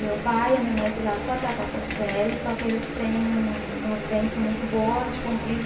Meu pai e a minha mãe estudaram só até a quarta série, só que eles têm uma vivência muito boa de convívio.